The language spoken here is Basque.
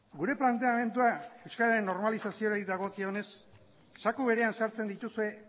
gure planteamendua euskararen normalizazioari dagokionez zaku berean sartzen dituzue